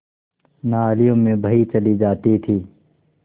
नालियों में बही चली जाती थी